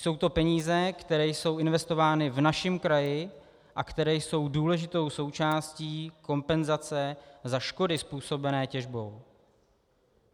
Jsou to peníze, které jsou investovány v našem kraji a které jsou důležitou součástí kompenzace za škody způsobené těžbou.